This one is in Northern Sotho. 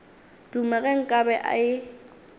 duma ge nka be e